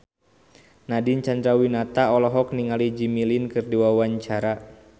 Nadine Chandrawinata olohok ningali Jimmy Lin keur diwawancara